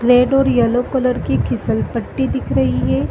Red और yellow colour की फिसल पट्टी दिख रही रही है।